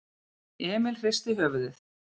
Emil hristi höfuðið.